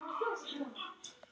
Ég féllst ekki á þetta.